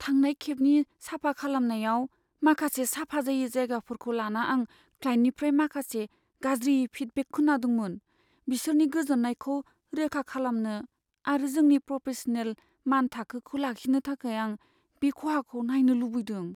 थांनाय खेबनि साफा खालामनायाव माखासे साफा जायै जायगाफोरखौ लाना आं क्लाइन्टनिफ्राय माखासे गाज्रि फिडबेक खोनादोंमोन। बिसोरनि गोजोन्नायखौ रोखा खालामनो आरो जोंनि प्रफेसनेल मानथाखोखौ लाखिनो थाखाय आं बे खहाखौ नायनो लुबैदों।